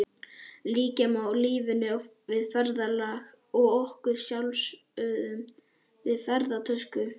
Líkja má lífinu við ferðalag og okkur sjálfum við ferðatösku.